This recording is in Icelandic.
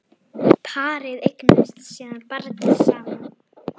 Parið eignast síðan barn saman.